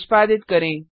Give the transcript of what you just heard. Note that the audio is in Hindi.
निष्पादित करें